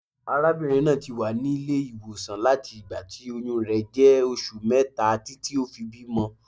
Arábìnrin náà ti wà nílé ìwòsàn láti ìgbà tí oyún rẹ̀ jẹ́ oṣù mẹ́ta títí ó fi bímọ.